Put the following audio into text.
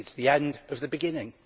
It is the end of the beginning.